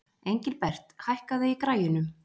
Engilbert, hækkaðu í græjunum.